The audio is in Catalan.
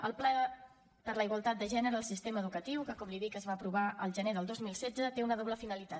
el pla per a la igualtat de gènere en el sistema educatiu que com li dic es va aprovar al gener del dos mil setze té una doble finalitat